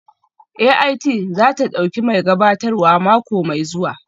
AIT za ta ɗauki mai gabatarwa mako mai zuwa